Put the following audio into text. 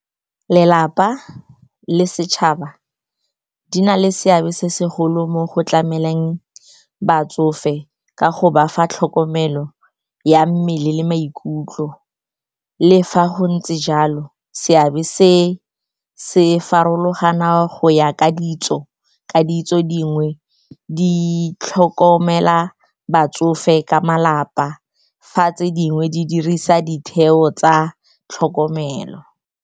Lelapa le setšhaba di na le seabe se segolo mo go tlameleng batsofe ka go ba fa tlhokomelo ya mmele le maikutlo. Le fa go ntse jalo, seabe se se farologana go ya ka ditso, ka ditso dingwe di tlhokomela batsofe ka malapa fa tse dingwe di dirisa ditheo tsa tlhokomelo.